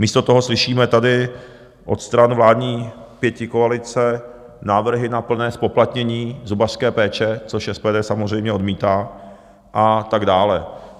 Místo toho slyšíme tady od stran vládní pětikoalice návrhy na plné zpoplatnění zubařské péče, což SPD samozřejmě odmítá, a tak dále.